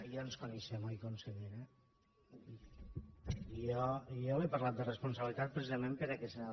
ja ens coneixem oi consellera jo li he parlat de responsabilitat precisament per aquesta nova